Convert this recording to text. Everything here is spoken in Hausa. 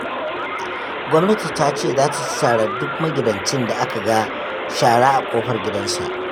Gwamnati ta ce za ta ci tarar duk magidancin da aka ga shara a ƙofar gidansa